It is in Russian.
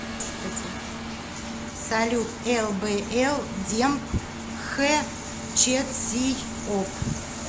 салют лбл демб х чедсийоб